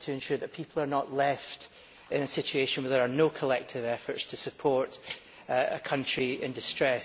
to ensure that people are not left in a situation where there are no collective efforts to support a country in distress.